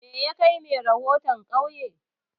Me yakai mai rahoton ƙauye?